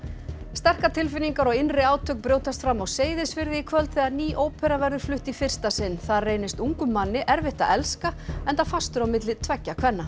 sterkar tilfinningar og innri átök brjótast fram á Seyðisfirði í kvöld þegar ný ópera verður flutt í fyrsta sinn þar reynist ungum manni erfitt að elska enda fastur á milli tveggja kvenna